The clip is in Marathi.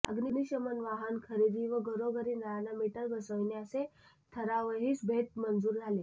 अग्निशमन वाहन खरेदी व घरोघरी नळांना मीटर बसविणे असे ठरावहीसभेत मंजूर झाले